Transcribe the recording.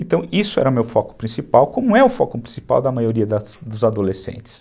Então, isso era o meu foco principal, como é o foco principal da maioria dos adolescentes.